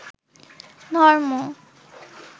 ধর্ম